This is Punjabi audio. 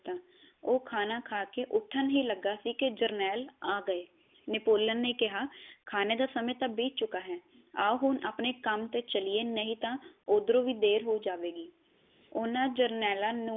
ਉਹ ਖਾਣਾ ਖਾ ਕੇ ਉਠਣ ਹੀ ਲੱਗਾ ਸੀ ਕੀ ਜਰਨੇਲ ਆ ਗਏ ਨੇਪੋਲੀਅਨ ਨੇ ਕਿਹਾ ਖਾਣੇ ਦਾ ਸਮੇ ਟਾ ਬੀਤ ਚੁਕਾ ਹੈ ਆਓ ਹੁਣ ਆਪਣੇ ਕੰਮ ਤੇ ਚਲਿਏ ਨਹੀ ਤਾਂ ਓਧਰੋ ਹੀ ਦੇਰ ਹੋ ਜਾਵੇ ਗੀ ਓਹਨਾ ਜਰਨੇਲਾ ਨੂੰ